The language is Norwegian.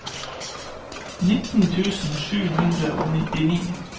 nitten tusen sju hundre og nitti